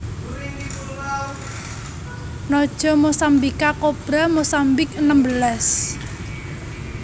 Naja mossambica kobra Mozambik enem belas